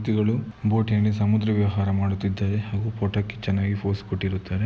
ವ್ಯಕ್ತಿಗಳು ಬೋಟ್ನಲ್ಲಿ ಸಮುದ್ರ ವಿಹಾರ ಮಾಡುತ್ತಿದ್ದಾರೆ ಹಾಗೂ ಫೋಟೋಗೆ ಚೆನ್ನಾಗಿ ಪೋಸ್ ಕೊಟ್ಟಿರುತ್ತಾರೆ.